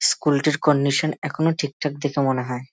School -টির condition এখনো ঠিকঠাক দেখে মনে হয়।